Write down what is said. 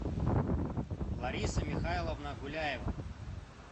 лариса михайловна гуляева